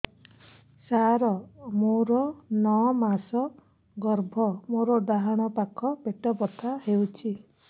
ସାର ମୋର ନଅ ମାସ ଗର୍ଭ ମୋର ଡାହାଣ ପାଖ ପେଟ ବଥା ହେଉଛି